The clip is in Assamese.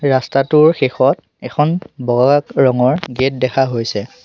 ৰাস্তাটোৰ শেষত এখন বগা ৰঙৰ গেট দেখা হৈছে।